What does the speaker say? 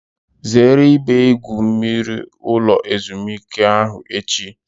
Zere ebe igwu mmiri ulo ezimuike ahu echi!